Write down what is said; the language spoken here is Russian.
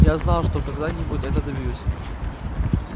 я знал что когда-нибудь этого добьюсь